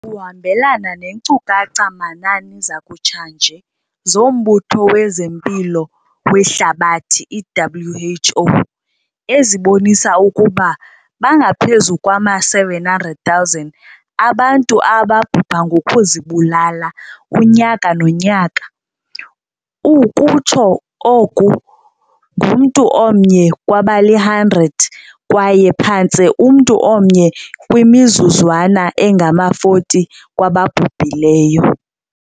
kuhambelana neenkcukacha-manani zakutshanje zoMbutho wezeMpilo weHlabathi, i-WHO, ezibonisa ukuba bangaphezu kwama-700 000 abantu ababhubha ngokuzibulala unyaka nonyaka - ukutsho oko ngumntu omnye kwabali-100 kwaye phantse umntu omnye kwimizuzwana engama-40 kwababhubhileyo.